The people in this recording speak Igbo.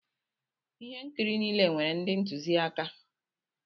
Ihe nkiri niile nwere ndị ntụziaka.